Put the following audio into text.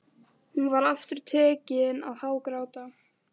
Hún var aftur tekin að hágráta.